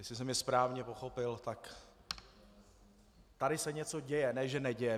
Jestli jsem je správně pochopil, tak tady se něco děje, ne že neděje.